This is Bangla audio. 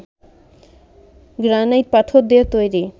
গ্রানাইট পাথর দিয়ে তৈরি